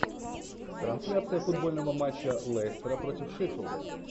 трансляция футбольного матча лестера против шеффилда